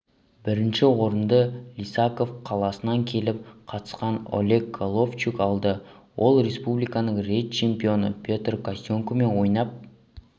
бірінші орынды лисаков қаласынан келіп қатысқан олег головчук алды ол республиканың рет чемпионы петр костенкомен ойнап